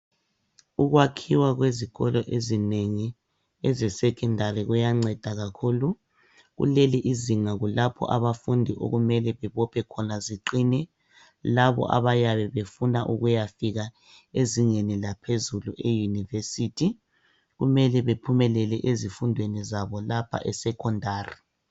ukwakhiwa kwezikolo ezinengi eze secondary kuyanceda kakhulu kuleli izinga kulapho abafundi okumele bebophe khona ziqine labo abayabe befuna ukuyafika ezingeni laphezulu e university kumele bephumelele ezifundweni zabo lapha e secondary